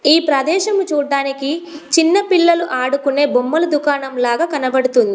ఈ ప్రదేశము చూడడానికి చిన్నపిల్లలు ఆడుకునే బొమ్మలు దుకాణం లాగా కనబడుతుంది.